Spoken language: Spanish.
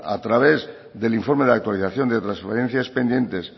a través del informe de actualización de transferencias pendientes